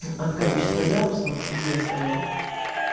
от количество ярусов и веса его